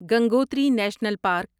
Gangotri national park